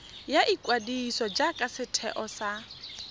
ya ikwadiso jaaka setheo sa